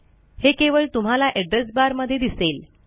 हे केवळ तुम्हाला एड्रेस barमध्ये दिसेल